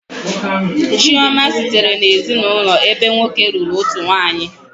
Chioma sitere n'ezinụlọ ebe nwoke lụrụ otu nwanyị